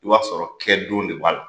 I b'a sɔrɔ kɛ don de b'a la